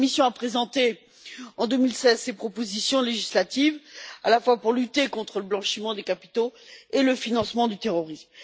La Commission a présenté en 2016 ces propositions législatives pour lutter contre le blanchiment des capitaux et le financement du terrorisme.